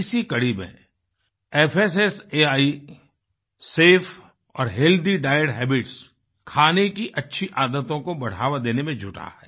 इसी कड़ी में fssaआई सफे और हेल्थी डाइट हैबिट्स खाने की अच्छी आदतों को बढ़ावा देने में जुटा है